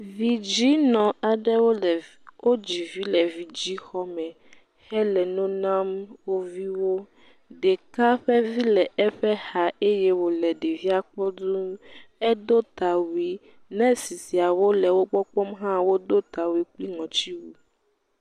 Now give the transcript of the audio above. Vidzɛ̃nɔ aɖewo le wodzi vi le vidzɛ̃xɔme, hele nɔ nam woƒe viwo, ɖeka ƒe vi le eƒe xa eye wòle ɖevia kpɔm duu, edo tawui, nɛsi siawo le wo gbɔ kpɔm hã wodo tawui kple ŋɔtiwui.